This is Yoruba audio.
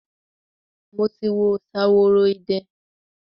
Mo ti wo Ṣaworoide.